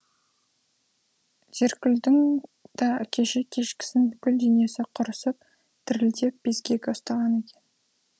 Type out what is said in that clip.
зеркүлдің да кеше кешкісін бүкіл денесі құрысып дірілдеп безгегі ұстаған екен